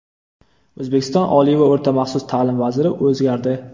O‘zbekiston oliy va o‘rta maxsus ta’lim vaziri o‘zgardi.